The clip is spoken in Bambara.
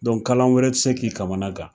kalan wɛrɛ ti k'i kamana gan